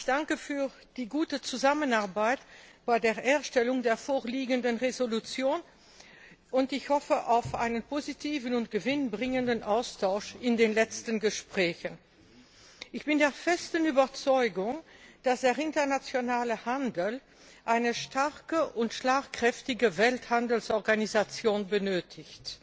Ich danke für die gute Zusammenarbeit bei der Erstellung der vorliegenden Entschließung, und ich hoffe auf einen positiven und gewinnbringenden Austausch in den letzten Gesprächen. Ich bin der festen Überzeugung, dass der internationale Handel eine starke und schlagkräftige Welthandelsorganisation benötigt.